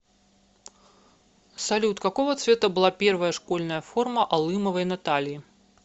салют какого цвета была первая школьная форма алымовой натальи